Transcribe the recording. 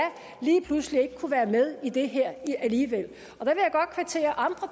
lige pludselig ikke kunne være med i det her alligevel